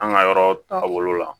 An ka yɔrɔ taabolo la